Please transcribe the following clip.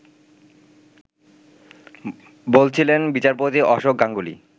বলছিলেন বিচারপতি অশোক গাঙ্গুলি